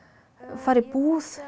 fara í búð